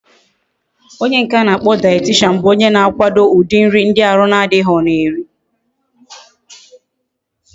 Onye nke akporo dietitian bu onye na akwado udi nri ndi ahu na adighi ga eri